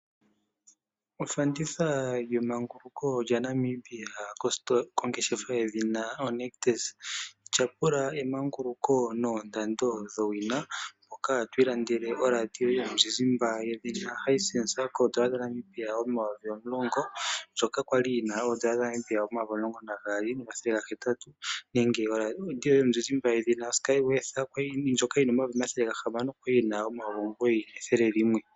Ofanditha yemanguluko lyaNambia kositola yedhina oNictus . Tyapula emanguluko noondando dhowina ndhoka twiilandele oradio yoye yomuzizimba oHisense ko N$10000 ndjoka kwali yina N$12800 nenge oradio yomuzizimba yedhina Sky Worth ndjoka yina N$6500 ndjoka kwali yina N$9100.